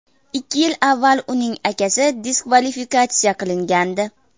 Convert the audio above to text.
Ikki yil avval uning akasi diskvalifikatsiya qilingandi.